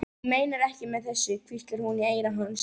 Hún meinar ekkert með þessu, hvíslaði hún í eyra hans.